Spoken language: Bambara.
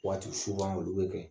Waati olu bɛ kɛ